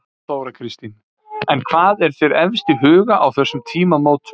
Þóra Kristín: En hvað er þér efst í huga á þessum tímamótum?